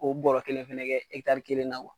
O bɔra kelen fɛnɛ kɛ kelen na